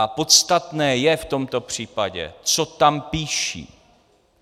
A podstatné je v tomto případě, co tam píší.